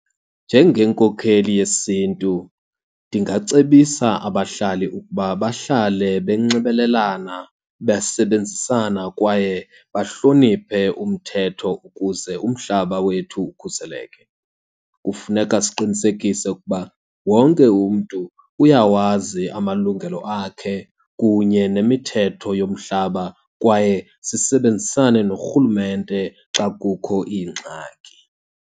Njengenkokheli yesiNtu ndingacebisa abahlali ukuba bahlale benxibelelana, besebenzisana, kwaye bahloniphe umthetho ukuze umhlaba wethu ukhuseleke. Kufuneka siqinisekise ukuba wonke umntu uyawazi amalungelo akhe kunye nemithetho yomhlaba kwaye sisebenzisane norhulumente xa kukho iingxaki.